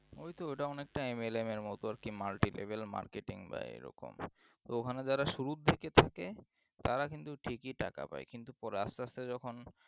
ওই তো ওটা অনেকটা mlm এর মতো marketebil marketing বা এরকম তো ওখানে যারা শুরু থেকে থাকে তারা কিন্তু ঠিকই টাকা পায় কিন্তু পরে আস্তে আস্তে যখন